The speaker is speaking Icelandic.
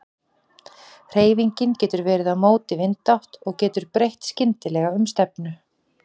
Hreyfingin getur verið á móti vindátt og getur breytt skyndilega um stefnu.